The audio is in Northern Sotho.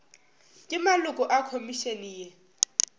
le maloko a khomišene ye